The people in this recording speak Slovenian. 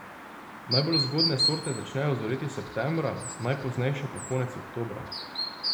Najbolj zgodne sorte začnejo zoreti septembra, najpoznejše pa konec oktobra.